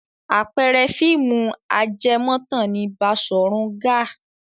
Àpẹẹrẹ fíìmù ajẹmọ́tàn ni Baṣọ̀run Gáà.